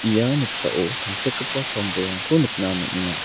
ia noksao tangsekgipa sam bolrangko nikna man·enga.